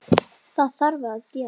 Það þarf að gera.